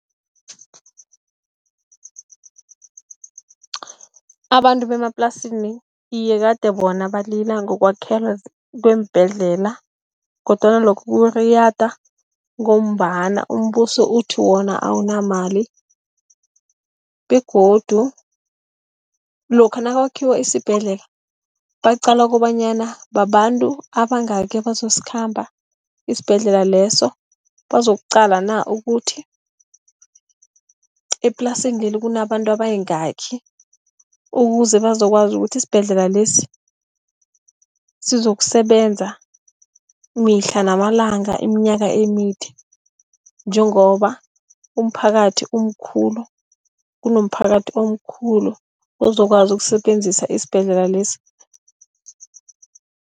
Abantu bemaplasini, iye kade bona balila ngokwakhelwa kweembhedlela kodwana lokho kuriyada ngombana umbuso uthi wona awunamali. Begodu lokha nakwakhiwa isibhedlela baqala kobanyana babantu abangaki abazokukhamba isibhedlela leso, bazokuqala na ukuthi eplasini leli kunabantu abayingaki. Ukuze bazokwazi ukuthi isibhedlela lesi, sizosebenza mihla namalanga, iminyaka emide njengoba umphakathi umkhulu, kunomiphakathi omkhulu ozokwazi ukusebenzisa isibhedlela lesi.